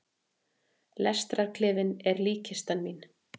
Lestarklefinn er líkkistan mín.